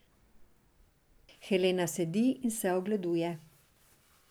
Helena sedi in se ogleduje.